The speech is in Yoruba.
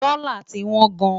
dòla tí wón gáàn